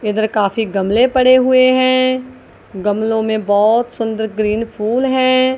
इधर काफी गमले पड़े हुए हैं गमलो में बहोत सुंदर ग्रीन फूल हैं।